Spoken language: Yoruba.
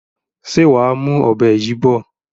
Ṣé wàá mú ọ̀bẹ yìí bọ̀?